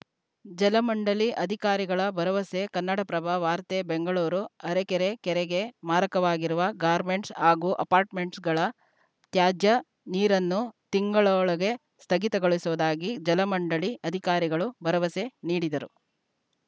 ಜಲಮಂಡಳಿ ಅಧಿಕಾರಿಗಳ ಭರವಸೆ ಕನ್ನಡಪ್ರಭ ವಾರ್ತೆ ಬೆಂಗಳೂರು ಅರಕೆರೆ ಕೆರೆಗೆ ಮಾರಕವಾಗಿರುವ ಗಾರ್ಮೆಂಟ್ಸ‌ ಹಾಗೂ ಅಪಾರ್ಟ್‌ಮೆಂಟ್‌ಗಳ ತ್ಯಾಜ್ಯ ನೀರನ್ನು ತಿಂಗಳೊಳಗೆ ಸ್ಥಗಿತಗೊಳಿಸುವುದಾಗಿ ಜಲಮಂಡಳಿ ಅಧಿಕಾರಿಗಳು ಭರವಸೆ ನೀಡಿದರು